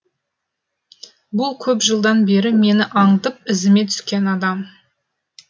бұл көп жылдан бері мені аңдып ізіме түскен адам